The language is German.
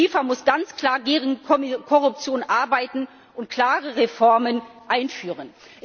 Und die FIFA muss ganz klar gegen Korruption arbeiten und klare Reformen einführen.